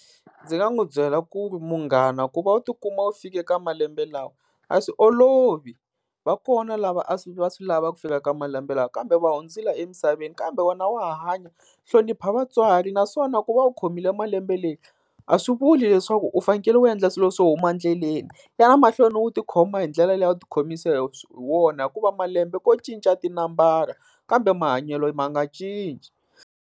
Ndzi nga n'wi byela ku ri munghana ku va u tikuma u fike ka malembe lawa a swi olovi. Va kona lava a va swi lava ku fika ka malembe lawa kambe va hundzile emisaveni, kambe wena wa ha hanya. Hlonipha vatswari naswona ku va u khomile malembe leyi a swi vuli leswaku u fanekele u endla swilo swo huma endleleni, ya na mahlweni u tikhoma hi ndlela leyi a wu ti khomisa hi wona. Hikuva malembe ko cinca tinambara kambe mahanyelo ma nga cinci.